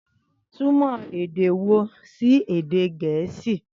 Túmọ̀ Ndewo sí èdè Gẹ̀ẹ́sì.